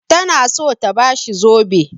Tana so ta ba shi zobe.